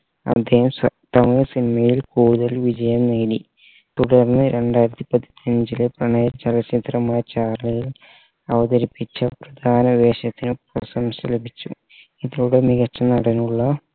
അദ്ദേഹം സ തമിഴ് cinema യിൽ കൂടുതൽ വിജയം നേടി തുടർന്ന് രണ്ടായിരത്തി പതിനഞ്ചിലെ പ്രണയ ചലച്ചിത്രമായ ചാർളിയിൽ അവതരിപ്പിച്ച പ്രധാന വേഷത്തിനും പ്രശംസ ലഭിച്ചു ഇതോടെ മികച്ച നടനുള്ള